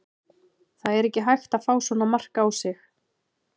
Það er ekki hægt að fá svona mark á sig.